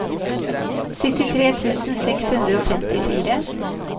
syttitre tusen seks hundre og femtifire